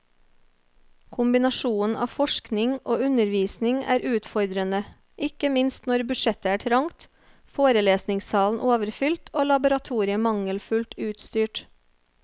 Kombinasjonen av forskning og undervisning er utfordrende, ikke minst når budsjettet er trangt, forelesningssalen overfylt og laboratoriet mangelfullt utstyrt.